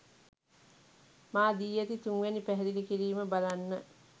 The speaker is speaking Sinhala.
මා දී ඇති තුන්වැනි පැහැදිලි කිරීම බලන්න.